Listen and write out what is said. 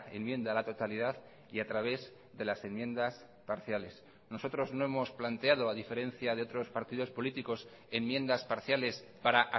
enmienda a la totalidad y a través de las enmiendas parciales nosotros no hemos planteado a diferencia de otros partidos políticos enmiendas parciales para